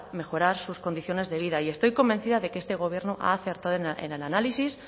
mejorar sus condiciones de vida y estoy convencida de que este gobierno ha acertado en el análisis